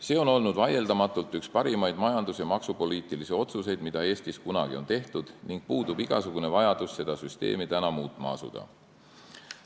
See on olnud vaieldamatult üks parimaid majandus- ja maksupoliitilisi otsuseid, mida Eestis kunagi on tehtud, ning puudub igasugune vajadus seda süsteemi muutma asuda.